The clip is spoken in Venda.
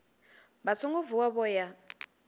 vha songo vuwa vho ya